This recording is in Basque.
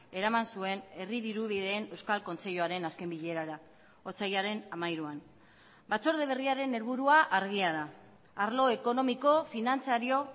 eraman zuen herri dirubideen euskal kontseiluaren azken bilerara otsailaren hamairuan batzorde berriaren helburua argia da arlo ekonomiko finantzario